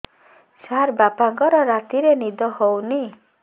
ସାର ବାପାଙ୍କର ରାତିରେ ନିଦ ହଉନି